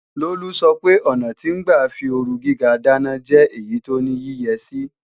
Lolú sọpe ọ̀nà tí ń gbà fí ooru gíga dáná jẹ́ èyí tó ní yíyẹsí